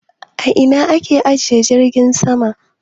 A ina a ke ajiye jirgin sama?